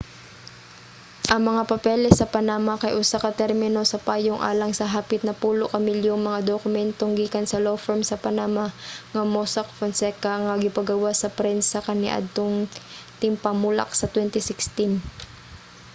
ang mga papeles sa panama kay usa ka termino sa payong alang sa hapit napulo ka milyong mga dokumentong gikan sa law firm sa panama nga mossack fonseca nga gipagawas sa prensa kaniadtong tingpamulak sa 2016